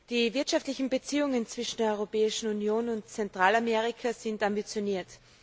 Die wirtschaftlichen Beziehungen zwischen der Europäischen Union und Zentralamerika sind ambitioniert.